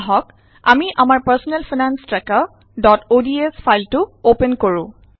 আহক আমি আমাৰ পাৰ্ছনেল ফাইনান্স ট্ৰেকাৰods ফাইলটো অপেন কৰোঁ